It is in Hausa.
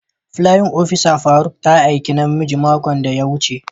playin opisa faruk ta haike namiji makon da ya wuce.